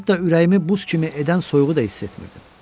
Hətta ürəyimi buz kimi edən soyuğu da hiss etmirdim.